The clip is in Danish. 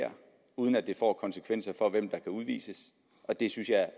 her uden at det får konsekvenser for hvem der kan udvises og det synes jeg